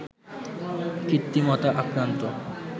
কৃত্রিমতা আক্রান্ত